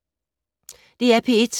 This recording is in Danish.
DR P1